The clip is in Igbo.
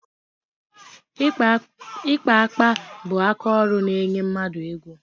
Ịkpa akpa bụ akaọrụ na-enye mmadụ ego.